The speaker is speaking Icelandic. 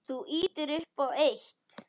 Þú ýtir upp á eitt.